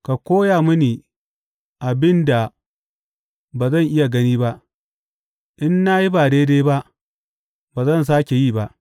Ka koya mini abin da ba zan iya gani ba; in na yi ba daidai ba, ba zan sāke yi ba.’